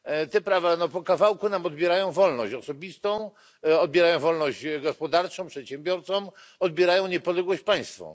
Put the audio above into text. Te prawa po kawałku nam odbierają wolność osobistą, odbierają wolność gospodarczą przedsiębiorcom, odbierają niepodległość państwom.